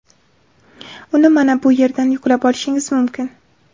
Uni mana bu yerdan yuklab olishingiz mumkin.